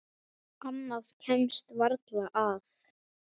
Annað kemst varla að.